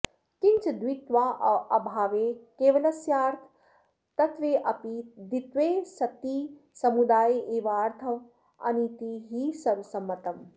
किंच द्वित्वाऽभावे केवलस्यार्थवत्त्वेऽपि द्वित्वे सति समुदाय एवार्थवानिति हि सर्वसंमतम्